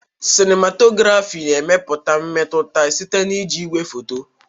Sinimatografi na-emepụta mmetụta site na iji igwefoto.